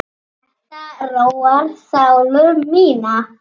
Þetta róar sálu mína.